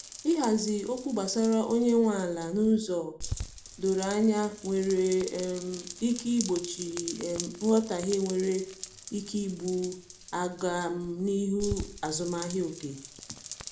ihazi okwu gbasara onye nwe ala n'ụzọ doro anya nwere um ike igbochi um nghotahie nwere ike igbú agam n'ihu azụmahịa oge